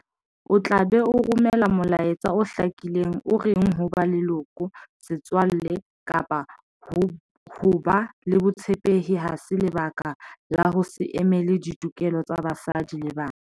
O tla be o romela mola etsa o hlakileng o reng ho ba leloko, setswalle kapa ho ba le botshepehi ha se lebaka la ho se emele ditokelo tsa basadi le bana.